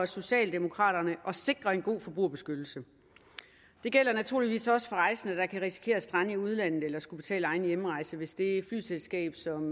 socialdemokraterne at sikre en god forbrugerbeskyttelse det gælder naturligvis også for rejsende der kan risikere at strande i udlandet eller skulle betale egen hjemrejse hvis det flyselskab som